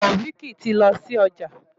Taofiq tí lọ sí ọjà.